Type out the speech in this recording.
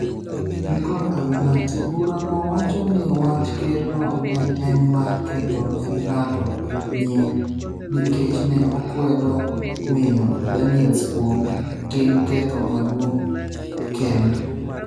Michael Avenatti bura no wacho ni wach ker no ne en mar ketho ne ng'ato nying nikech ne okwedo miyo Daniels kuom tim ketho maduong' kendd